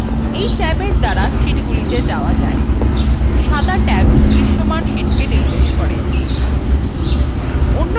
এই ট্যাবএর দ্বারা sheetগুলিত়ে যাওয়া যায় সাদা ট্যাব দৃশ্যমান শীটকে নির্দেশ করে